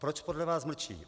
Proč podle vás mlčí?